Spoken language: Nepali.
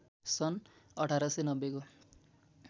सन् १८९० को